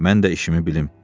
Mən də işimi bilim.